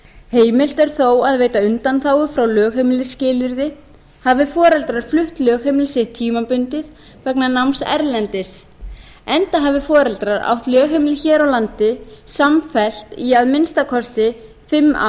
heimilt er þó að veita undanþágu frá lögheimilisskilyrði hafi foreldrar flutt lögheimili sitt tímabundið vegna náms erlendis enda hafi foreldrar átt lögheimili hér á landi samfellt í að minnsta kosti fimm